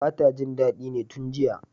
bata jin dadi ne tun jiya